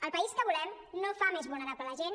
el país que volem no fa més vulnerable la gent